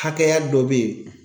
Hakɛya dɔ be ye